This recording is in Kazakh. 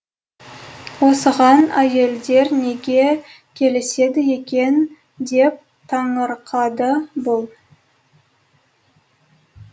осыған әйелдер неге келіседі екен деп таңырқады бұл